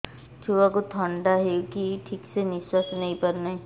ଛୁଆକୁ ଥଣ୍ଡା ହେଇଛି ଠିକ ସେ ନିଶ୍ୱାସ ନେଇ ପାରୁ ନାହିଁ